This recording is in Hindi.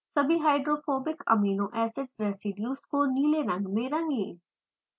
सभी hydrophobic एमिनो एसिड्स residues को नीले रंग में रंगें